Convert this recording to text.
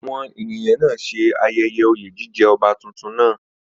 Àwọn ènìyàn náà ṣe ayẹyẹ oyè jíjẹ ọba tuntun náà